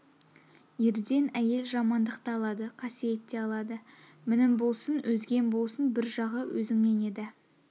ерден әйел жамандық та алады қасиет те алады мінім болсын өзгем болсын бір жағы өзіңнен еді